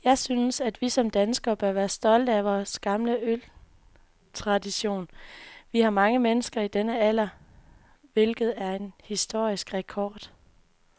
Jeg synes, vi som danskere bør være stolte af vor gamle øltradition. Vi har mange mennesker i denne alder, hvilket er en historisk rekord.